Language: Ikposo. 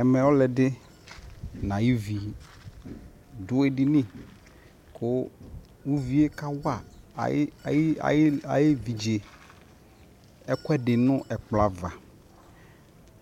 ɛmɛ ɔlo ɛdi no ayo vi do edini ko uvie ka wa ayo evidze ɛkuɛdi no ɛkplɔ ava